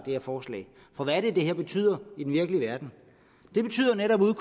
her forslag for hvad er det det betyder i den virkelige verden det betyder netop at